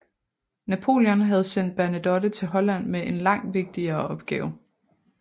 Napoléon havde sendt Bernadotte til Holland med en langt vigtigere opgave